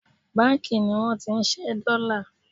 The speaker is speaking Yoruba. banki ni won ti nse dollar